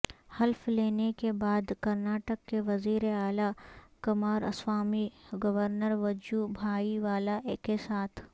حلف لینے کے بعد کرناڑک کے وزیر اعلی کماراسوامی گورنر وجو بھائی والا کے ساتھ